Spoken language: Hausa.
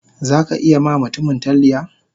Zaka iya ma mutumin talliya?